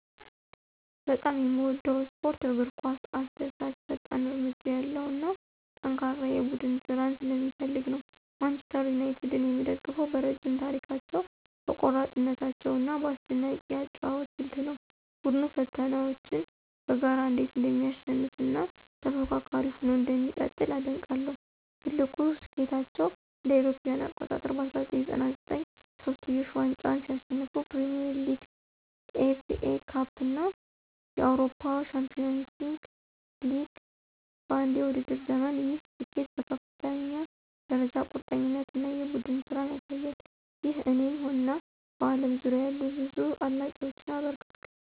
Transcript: በጣም የምወደው ስፖርት እግር ኳስ አስደሳች፣ ፈጣን እርምጃ ያለው እና ጠንካራ የቡድን ስራን ስለሚፈልግ ነው። ማንቸስተር ዩናይትድን የምደግፈው በረዥም ታሪካቸው፣ በቆራጥነታቸው እና በአስደናቂ የአጨዋወት ስልት ነው። ቡድኑ ፈተናዎችን በጋራ እንዴት እንደሚያሸንፍ እና ተፎካካሪ ሆኖ እንደሚቀጥል አደንቃለሁ። ትልቁ ስኬታቸው እ.ኤ.አ. በ1999 የሶስትዮሽ ዋንጫን ሲያሸንፉ ፕሪሚየር ሊግ፣ ኤፍኤ ካፕ እና የአውሮፓ ቻምፒዮንስ ሊግ በአንድ የውድድር ዘመን፣ ይህ ስኬት በከፍተኛ ደረጃ ቁርጠኝነት እና የቡድን ስራን ያሳያል። ይህ እኔን እና በአለም ዙሪያ ያሉ ብዙ አድናቂዎችን አበረታቷል